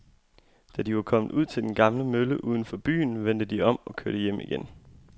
Da de var kommet ud til den gamle mølle uden for byen, vendte de om og kørte hjem igen.